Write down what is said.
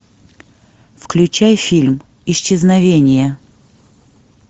включай фильм исчезновение